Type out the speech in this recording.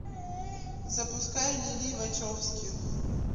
запускай лилли вачовски